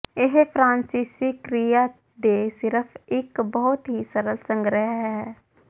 ਇਹ ਫਰਾਂਸੀਸੀ ਕ੍ਰਿਆ ਦੇ ਸਿਰਫ਼ ਇੱਕ ਬਹੁਤ ਹੀ ਸਰਲ ਸੰਗ੍ਰਹਿ ਹੈ